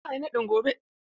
Za a yi naɗin gobe?.